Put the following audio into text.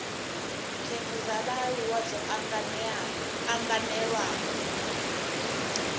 khetha dza vhaaluwa dzo anganelaho